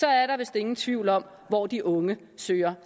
er der vist ingen tvivl om hvor de unge søger